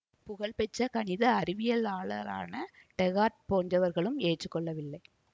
புகழ் பெற்ற கணித அறிவியலாளரான டேகார்ட் போன்றவர்களும் ஏற்று கொள்ளவில்லை